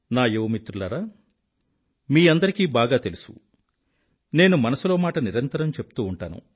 నా యువమిత్రులారా మీ అందరికీ బాగా తెలుసు నేను మనసులో మాట నిరంతరం చెప్తూ ఉంటాను